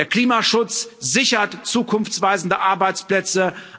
Der Klimaschutz sichert zukunftsweisende Arbeitsplätze.